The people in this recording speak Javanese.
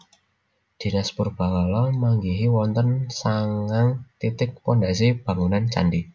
Dinas Purbakala manggihi wonten sangang titik pondhasi bangunan candhi